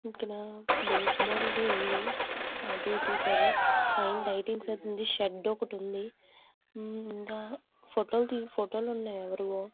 ఇక్కడ baseball ది ఉంది. అటు ఇటు పైన లైటింగ్ ఉంది. షెడ్ ఉంది ఇంకా ఫోటోకి ఫోటో లు ఉన్నాయి.